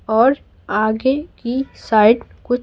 और आगे की साइड कुछ--